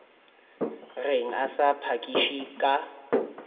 reng a sa phakiše ka